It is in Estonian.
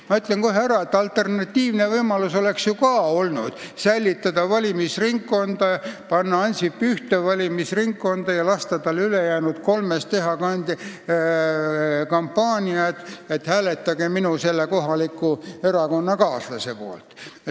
Ma ütlen kohe, et alternatiivne võimalus oleks olnud säilitada valimisringkonnad, panna Ansip ühte valimisringkonda kandideerima ja lasta tal ülejäänud kolmes teha kampaaniat, et hääletage minu erakonnakaaslaste poolt.